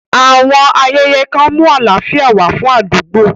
Àwọn ayẹyẹ kan mú àlàáfíà wá fún àdúgbò.